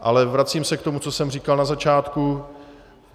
Ale vracím se k tomu, co jsem říkal na začátku.